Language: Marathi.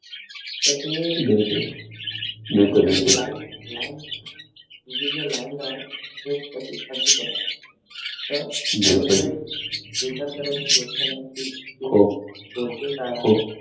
sir तुम्ही line line हि जी line राहते हि तशीच तशीच तर राहते तर एवढं काही विचार करायची गोष्ट नाही की SOURCES आहेत